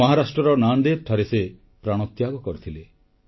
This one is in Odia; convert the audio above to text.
ମହାରାଷ୍ଟ୍ରର ନାନ୍ଡ଼େଡ଼ଠାରେ ସେ ପ୍ରାଣତ୍ୟାଗ କରିଥିଲେ